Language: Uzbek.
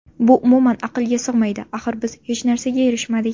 Bu umuman aqlga sig‘maydi, axir biz hech narsaga erishmadik.